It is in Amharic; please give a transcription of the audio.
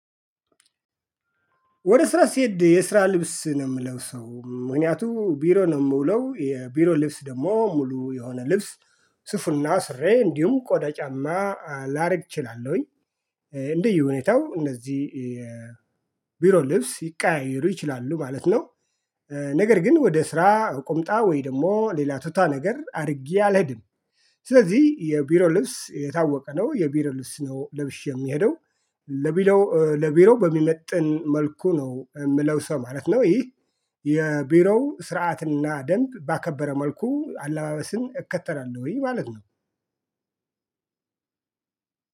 ወደ ስራ ስሄድ የስራ ልብስ ነው የምለብሰው ምክንያቱም ቢሮ ነው የምውለው የቢሮ ልብስ ደግሞ ሙሉ የሆነ ልብስ ሱፉና ሱሬ እንዲሁም ቆዳ ጫማ ላረግ እችላለሁኝ። እንደየ ሁኔታው እነዚህ ቢሮ ልብስ ሊቀያየሩ ይችላሉ ማለት ነው። ነገር ግን ወደ ስራ ቁምጣ ወይ ደግሞ ሌላ ቱታ ነገር አድርጌ አልሄድም። ስለዚህ የቢሮ ልብስ የታወቀ ነው የቢሮ ልብስ ነው ልብሼ ምሄደው። ለቢሮ ለቢሮ በሚመጥን መልኩ ነው የምለብሰው ማለት ነው። ይህ የቢሮው ስርዓትና ደንብ ባከበረ መልኩ አለባበስን እከተላለሁኝ ማለት ነው።